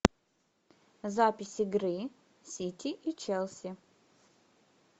запись игры сити и челси